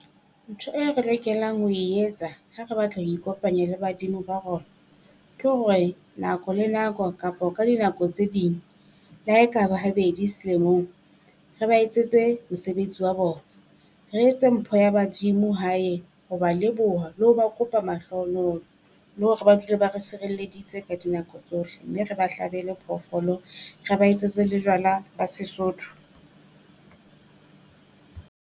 Ntho e re lokelang ho e etsa ha re batla ho ikopanya le badimo ba rona, ke hore, nako le nako kapo ka dinako tse ding le ha e ka ba habedi selemong, re ba etsetse mosebetsi wa bona. Re etse mpho ya badimo hae ho ba leboha le ho ba kopa mahlohonolo le hore ba dule ba re sirelleditse ka dinako tsohle. Mme re ba hlabele phoofolo, re ba etsetse le jwala ba Sesotho.